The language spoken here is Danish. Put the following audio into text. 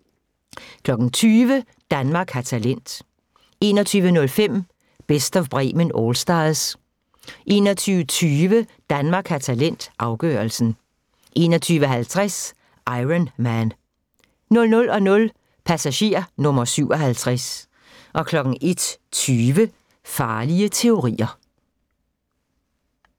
20:00: Danmark har talent 21:05: Best of Bremen Allstars 21:20: Danmark har talent – afgørelsen 21:50: Iron Man 00:00: Passager nr. 57 01:20: Farlige teorier